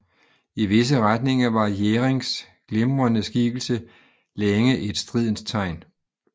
I visse retninger var Jherings glimrende skikkelse længe et stridens tegn